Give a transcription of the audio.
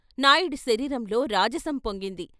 నాయుడి శరీరంలో రాజసం పొంగింది.